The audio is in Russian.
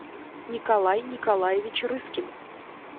николай николаевич рыскин